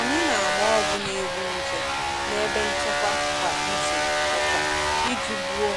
Anyị na-agba ọgwụ na-egbu nje n'ebe nchekwa kwa izu ụka iji gbuo